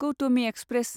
Gautami express